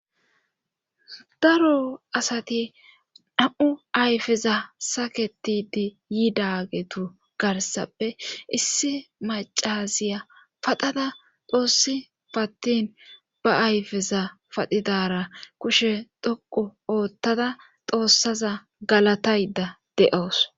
daro asati dham7u ayfeza saketidi yiidagetu garsappe issi macaziya padhada doossi pattin ba ayfeza padidara kushe dhoqu oottada xoossaza galatayda de7oos